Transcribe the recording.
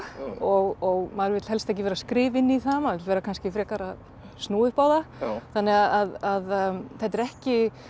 og maður vill helst ekki vera að skrifa inn í það maður vera kannski frekar að snúa upp á það þannig að þetta er ekki